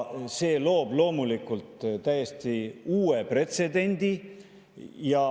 See loob loomulikult täiesti uue pretsedendi.